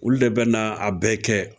Olu de bɛ na a bɛɛ kɛ